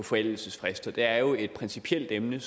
forældelsesfrister det er jo et principielt emne